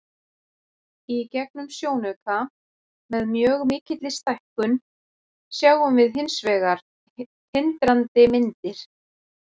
Í gegnum sjónauka, með mjög mikilli stækkun, sjáum við hins vegar tindrandi myndir.